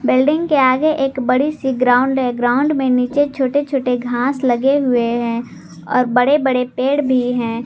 Building के आगे एक बड़ी सी ग्राउंड है ग्राउंड में नीचे छोटे छोटे घास लगे हुए है और बड़े बड़े पेड़ भी हैं।